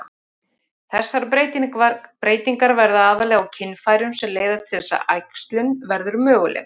Þessar breytingar verða aðallega á kynfærum sem leiða til þess að æxlun verður möguleg.